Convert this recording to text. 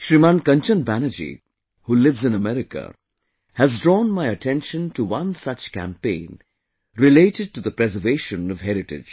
Shriman Kanchan Banerjee, who lives in America, has drawn my attention to one such campaign related to the preservation of heritage